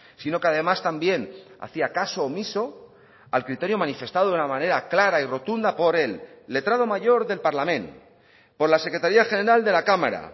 sino que además también hacía caso omiso al criterio manifestado de una manera clara y rotunda por el letrado mayor del parlament por la secretaría general de la cámara